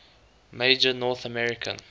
major north american